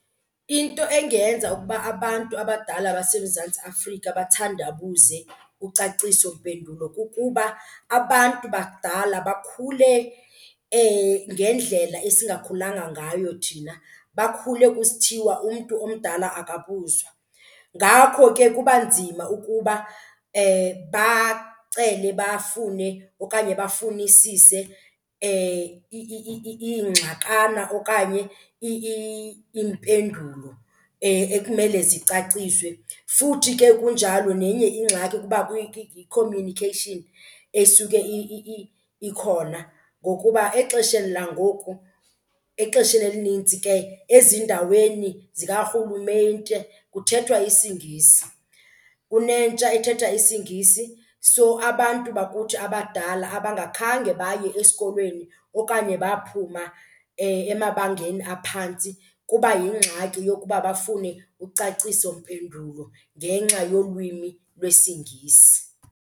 Into engenza ukuba abantu abadala baseMzantsi Afrika bathandabuze ucacisompendulo kukuba abantu bakudala bakhule ngendlela esingakhulanga ngayo thina, bakhule kusithiwa umntu omdala akabuzwa. Ngakho ke kuba nzima ukuba bacele bafune okanye bafunisise iingxakana okanye iimpendulo ekumele zicaciswe. Futhi ke kunjalo nenye ingxaki kuba i-communication esuke ikhona ngokuba exesheni langoku, exesheni elinintsi ke ezindaweni zikarhulumente kuthethwa isiNgisi. Kunentsha ethetha isiNgisi so abantu bakuthi abadala abangakhange baye esikolweni okanye baphuma emabangeni aphantsi kuba yingxaki yokuba bafune ucacisompendulo ngenxa yolwimi lwesiNgisi.